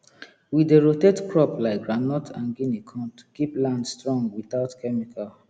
we dey rotate crop like groundnut and guinea corn to keep land strong without chemical